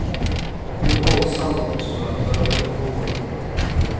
Nu hålls samrådsmöte med de boende.